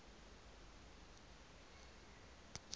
transvala